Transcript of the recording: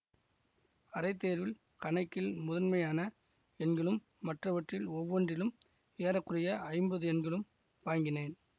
அரைத் தேர்வில் கணக்கில் முதன்மையான எண்களும் மற்றவற்றில் ஒவ்வொன்றிலும் ஏற குறைய ஐம்பது எண்களும் வாங்கினேன்